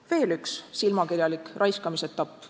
On veel üks silmakirjalik raiskamise etapp.